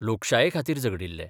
लोकशाये खातीर झगडिल्ले.